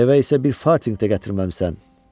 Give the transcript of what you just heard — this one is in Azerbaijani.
Evə isə bir fartinq də gətirməmisən?